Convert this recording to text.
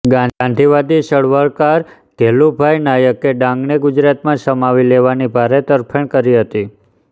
ગાંધીવાદી ચળવળકાર ઘેલુભાઈ નાયકે ડાંગને ગુજરાતમાં સમાવી લેવાની ભારે તરફેણ કરી હતી